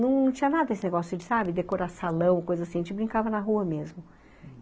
Não tinha nada esse negócio de, sabe, decorar salão, coisa assim, a gente brincava na rua mesmo.